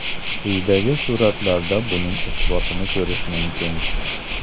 Quyidagi suratlarda buning isbotini ko‘rish mumkin.